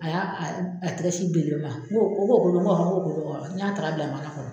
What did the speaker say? A y'a a a tɛgɛ sin bele ma n ko o ko do ko k'o do n y'a ta ka bila mana kɔnɔ.